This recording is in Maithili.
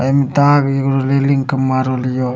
आ इमें तार एगो रेलिंग के मारल हियाे।